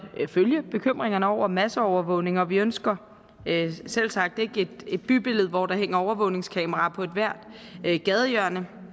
følge bekymringerne over masseovervågning og vi ønsker selvsagt ikke et bybillede hvor der hænger overvågningskameraer på ethvert gadehjørne